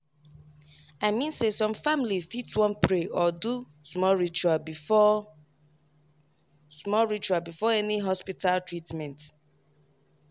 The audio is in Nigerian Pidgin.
i mean say some family fit wan pray or do small ritual before small ritual before any hospita treatment